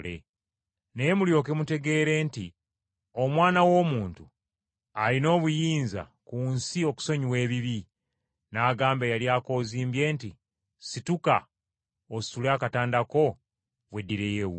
Naye mulyoke mutegeere nti, Omwana w’Omuntu alina obuyinza ku nsi okusonyiwa ebibi.” N’agamba eyali akozimbye nti, “Situka, ositule akatanda ko, weddireyo ewuwo.”